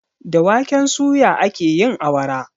Da waken suya ake yin awara.